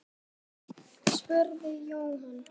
spurði Jóhann.